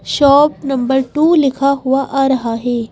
Shop number two लिखा हुआ आ रहा है ।